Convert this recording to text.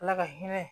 Ala ka hinɛ